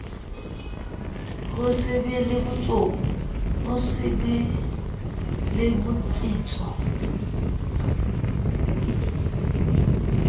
ho se be le botsitso